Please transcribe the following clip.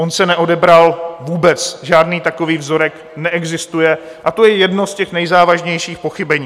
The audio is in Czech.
On se neodebral vůbec, žádný takový vzorek neexistuje, a to je jedno z těch nejzávažnějších pochybení.